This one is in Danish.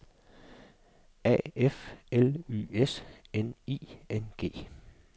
A F L Y S N I N G